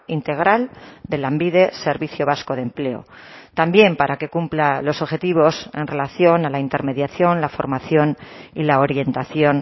integral de lanbide servicio vasco de empleo también para que cumpla los objetivos en relación a la intermediación la formación y la orientación